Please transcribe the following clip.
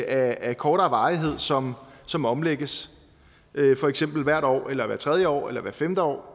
af kortere varighed som som omlægges for eksempel hvert år eller hvert tredje år eller hvert femte år